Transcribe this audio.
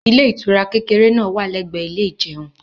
ilé ìtura kékeré náà wà l'ẹgbẹ ilé ìjeun